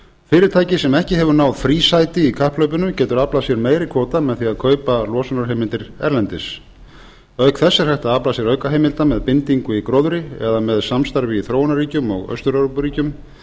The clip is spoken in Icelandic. fyrirtæki sem ekki hefur náð frísæti í kapphlaupinu getur aflað sér meiri kvóta með því að kaupa losunarheimildir erlendis auk þess er hægt að afla sér aukaheimilda með bindingu í gróðri eða með samstarfi í þróunarríkjum og austur evrópuríkjum